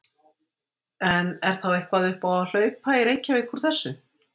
En er þá eitthvað upp á að hlaupa í Reykjavík úr þessu?